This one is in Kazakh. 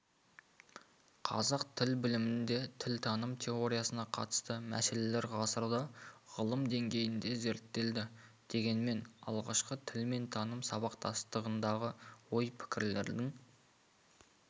қазақ тіл білімінде тілтаным теориясына қатысты мәселелер ғасырда ғылым деңгейінде зерттелді дегенмен алғашқы тіл мен таным сабақтастығындағы ой-пікірлердің